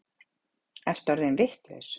Ertu orðinn vitlaus?